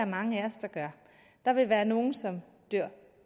mange af os der gør der vil være nogle som dør